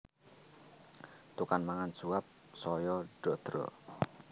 Tukang mangan suap saya ndadra